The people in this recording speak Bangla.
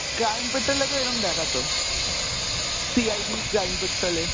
crime petrol এ তো এরম দেখাতো, CID crime petrol এ।